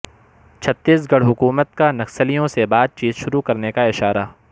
چھتیس گڑھ حکومت کا نکسلیوں سے بات چیت شروع کرنے کا اشارہ